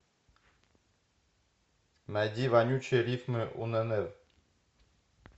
найди вонючие рифмы уннв